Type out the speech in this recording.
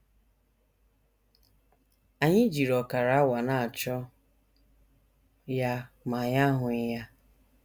Anyị jiri ọkara awa na - achọ ya ma anyị ahụghị ya.